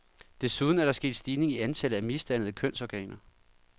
Desuden er der sket stigning i antallet af misdannede kønsorganer.